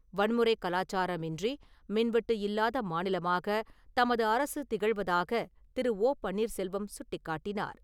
வன்முறை கலாச்சாரம் இன்றி மின்வெட்டு இல்லாத மாநிலமாக தமது அரசு திகழ்வதாக திரு. ஓ. பன்னீர்செல்வம் சுட்டிக்காட்டினார்.